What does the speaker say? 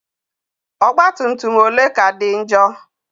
Ọgbatumtum ole ka dị njọ?